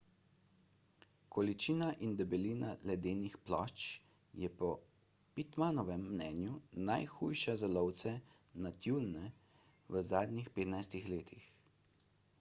količina in debelina ledenih plošč je po pittmanovem mnenju najhujša za lovce na tjulnje v zadnjih 15 letih